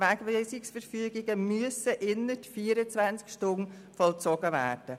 «Wegweisungsverfügungen müssen innert 24 Stunden vollzogen werden.